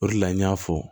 O de la n y'a fɔ